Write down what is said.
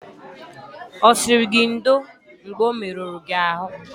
Ọ sịrị gị ndo mgbe o merụrụ gị ahụ?